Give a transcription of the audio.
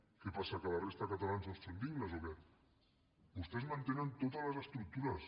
què passa que la resta de catalans no són dignes o què vostès mantenen totes les estructures